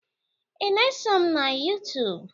Ị na-esom na Yuutuub?